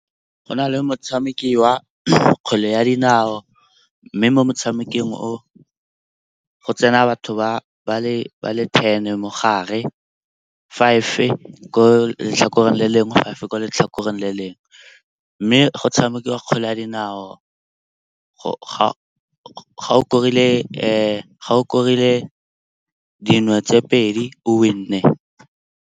Go na le motshameko wa kgwele ya dinao mme mo motshamekong o, go tsena batho ba le ten mo gare. Five ko letlhakoreng le lengwe, five ko letlhakoreng le lengwe. Mme go tshameka kgwele ya dinao ga o korile dino tse pedi o win-e.